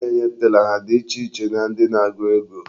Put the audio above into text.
Ndị na-enye tela ha dị iche na ndị na-agụ ego?